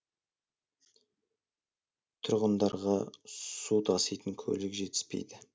тұрғындарға су таситын көлік жетіспейді